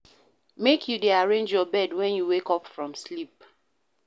Make you dey arrange your bed wen you wake from sleep.